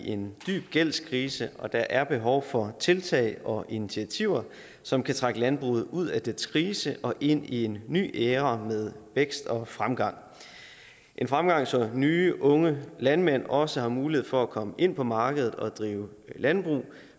i en dyb gældskrise og der er behov for tiltag og initiativer som kan trække landbruget ud af dets krise og ind i en ny æra med vækst og fremgang fremgang så nye unge landmænd også har mulighed for at komme ind på markedet og drive landbrug